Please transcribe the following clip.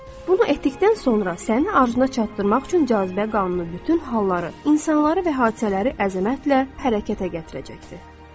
Bunu etdikdən sonra səni arzuna çatdırmaq üçün cazibə qanunu bütün halları, insanları və hadisələri əzəmətlə hərəkətə gətirəcəkdir.